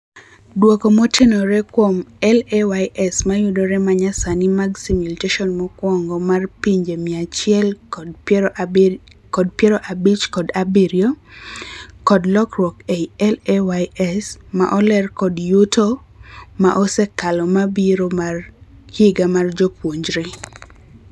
Duoko motenore kuom LAYS mayudore manyasani mag simulation mokwongo mar pinje mia achiel kod piero abich kod abirio (unweighted average) kod lokruok ei LAYS ma oleer kod yuto ma osekalo mabiro mar higa mar jopuonjre.